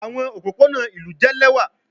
Awọn opopona ilu jẹ lẹwa